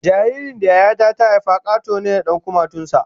Jaririn da Yaya ta ta haifa Kato ne da 'yan kumatun sa